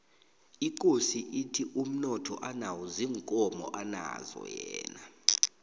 ikosi ithi umnotho anawo ziinkomo anazo yena